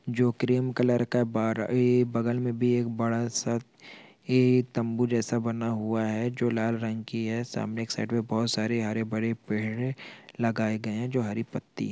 जो cream colour का बार-- ऐ बग़ल मे भी एक बड़ा-सा ऐ तम्बू जैसा बना हुआ है जो लाल रंग की है सामने एक साइड पे बहोत सारे हरे-भरे पेड़ लगाए गए है जो हरी पत्ति--